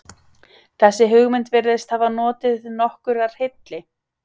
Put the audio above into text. Þessi hugmynd virðist hafa notið nokkurrar hylli.